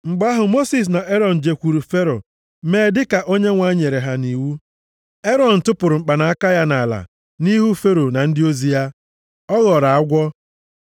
Mgbe ahụ, Mosis na Erọn jekwuuru Fero mee dịka Onyenwe anyị nyere ha nʼiwu. Erọn tụpụrụ mkpanaka ya nʼala nʼihu Fero na ndị ozi ya. Ọ ghọrọ agwọ.